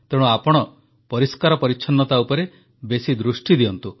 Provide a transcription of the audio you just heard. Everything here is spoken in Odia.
ତେଣୁ ଆପଣ ପରିଷ୍କାର ପରିଚ୍ଛନ୍ନତା ଉପରେ ବେଶୀ ଦୃଷ୍ଟି ଦିଅନ୍ତୁ